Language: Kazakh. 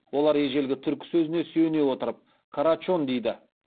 олар ежелгі түркі сөзіне сүйене отырып карачон дейді